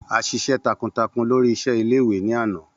A ṣiṣẹ takuntakun lori iṣẹ ile-iwe ni ana.